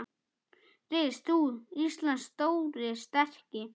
Rís þú, Íslands stóri, sterki